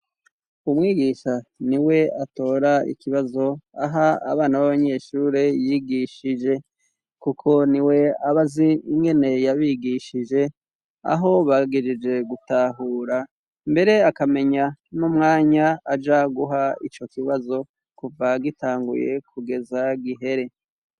Umwigisha ni we atora ikibazo aha abana b'abanyeshure yigishije, kuko ni we abazi ingene yabigishije aho bagijije gutahura mbere akamenya no mwanya aja guha ico kibazo kuva gitanguye kugeza gihere.